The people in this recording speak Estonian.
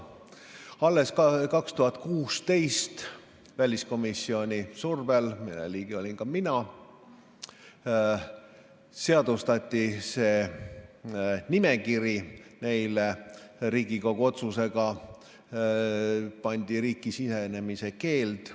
Alles 2016 väliskomisjoni survel, mille liige olin ka mina, seadustati see nimekiri ja Riigikogu otsusega pandi neile isikutele riiki sisenemise keeld.